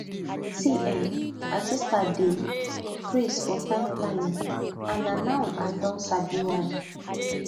see[um]my sister dey craze for time planning and na now i don sabi why